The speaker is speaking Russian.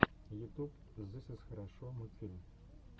ютуб зыс из хорошо мультфильм